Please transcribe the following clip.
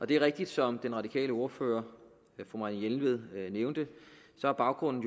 det er rigtigt som den radikale ordfører fru marianne jelved nævnte at baggrunden